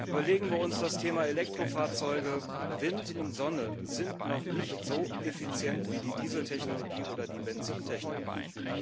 Überlegen wir uns das Thema Elektrofahrzeuge Wind und Sonne sind noch nicht so effizient wie die Dieseltechnologie oder die Benzintechnologie.